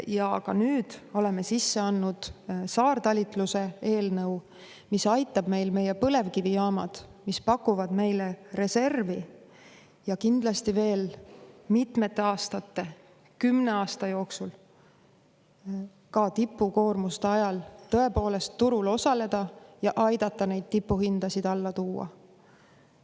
Ja nüüd oleme sisse andnud saartalitluse eelnõu, mis aitab meie põlevkivijaamadel, mis pakuvad meile reservi, kindlasti veel mitmete aastate, 10 aasta jooksul tipukoormuste ajal tõepoolest turul osaleda ja aidata neid tipuhindasid alla tuua.